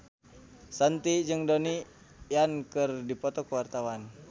Shanti jeung Donnie Yan keur dipoto ku wartawan